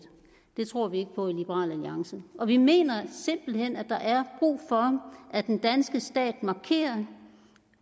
det tror vi ikke på i liberal alliance og vi mener simpelt hen at der er brug for at den danske stat markerer